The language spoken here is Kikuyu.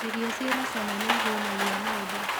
Irio ciĩna cama nĩihũnagia mũndũ.